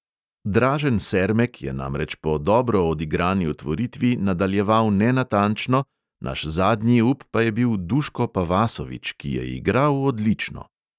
Dražen sermek je namreč po dobro odigrani otvoritvi nadaljeval nenatančno, naš zadnji up pa je bil duško pavasovič, ki je igral odlično.